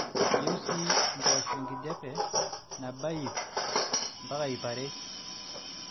eyieu sii mpoosho enkijape naba iiip-iiippare m